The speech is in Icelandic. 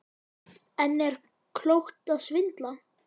En er klókt að svindla?